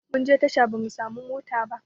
Munje tasha ba mu samu mota ba